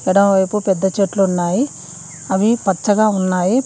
ఎడమవైపు పెద్ద చెట్లు ఉన్నాయి అవి పచ్చగా ఉన్నాయి.